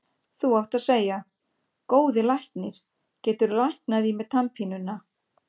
Þú átt að segja: Góði læknir, geturðu læknað í mér tannpínuna.